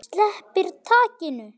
Sleppir takinu.